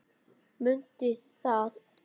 Mundu það!